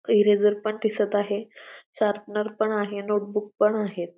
Eraser पण दिसत आहे शार्पनर पण आहे नोट बूक पण आहेत.